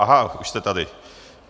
Aha, už jste tady.